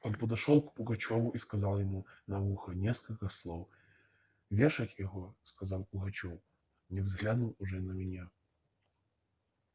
он подошёл к пугачёву и сказал ему на ухо несколько слов вешать его сказал пугачёв не взглянув уже на меня